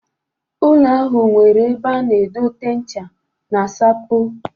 Ụlọ ahụ nwere ebe a na-edote ncha na sapo.